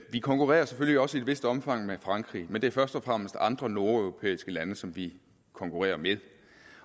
vi konkurrerer selvfølgelig også i et vist omfang med frankrig men det er først og fremmest andre nordeuropæiske lande som vi konkurrerer med